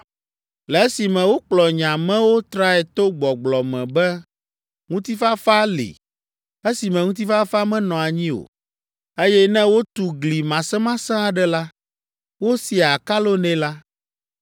“Le esime wokplɔ nye amewo trae to gbɔgblɔ me be, ‘Ŋutifafa’ li, esime ŋutifafa menɔ anyi o, eye ne wotu gli masemasẽ aɖe la, wosiaa akalo nɛ la,